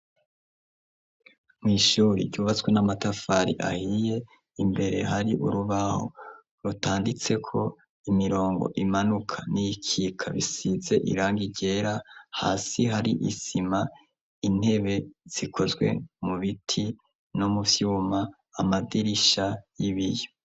Mw'ishuri, ryubatswe n'amatafari ahiye, imbere hari urubaho rutanditseko imirongo imanuka, n'iyikika bisize irangi ryera, hasi hari isima, intebe zikozwe mu biti no mu vyuma, amadirisha y'ibiyo.